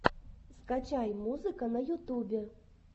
скачай музыка на ютубе